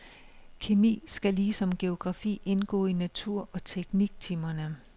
Kemi skal ligesom geografi indgå i natur- og tekniktimerne.